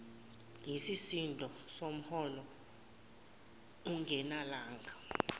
yisisindo somholo ungenelanga